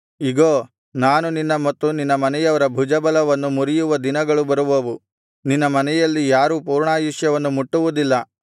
ಇಗೋ ನಾನು ನಿನ್ನ ಮತ್ತು ನಿನ್ನ ಮನೆಯವರ ಭುಜಬಲವನ್ನು ಮುರಿಯುವ ದಿನಗಳು ಬರುವವು ನಿನ್ನ ಮನೆಯಲ್ಲಿ ಯಾರೂ ಪೂರ್ಣಾಯುಷ್ಯವನ್ನು ಮುಟ್ಟುವುದಿಲ್ಲ